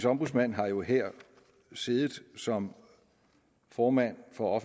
ombudsmand har jo her siddet som formand for